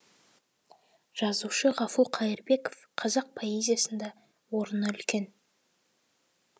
жазушы ғафу қайырбеков қазақ поэзиясында орыны үлкен